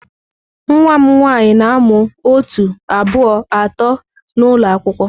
Nwa m nwanyị na-amụ otu, abụọ, atọ n'ụlọ akwụkwọ.